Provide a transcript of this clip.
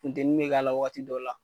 Funteni be k'a la wagati dɔw la